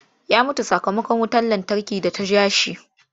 Ya mutu sakamakon wutar lantarki da ta ja shi.